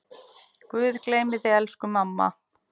Guð geymi þig, elsku mamma.